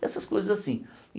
Essas coisas assim e